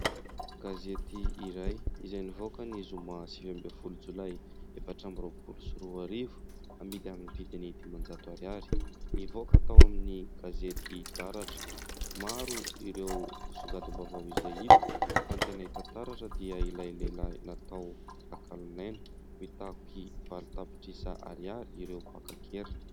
Gazety iray izay nivoaka ny zoma sivy ambin'ny folo jolay efatra amby roapolo sy roa arivo amidy amin'ny vidiny dimanjato ariary nivoaka tao amin'ny gazety taratra. Maro ireo songadim-baovao izay hita fa ny tena hita taratra dia ilay lehilahy natao takalonaina, mitaky valo tapitrisa ariary ireo mpaka an-keriny.